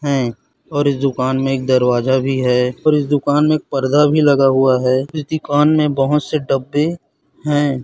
है और इस दुकान में एक दरवाजा भी है और इस दुकान में एक पर्दा भी लगा हुआ है इस दुकान में बहोत से डब्बे है।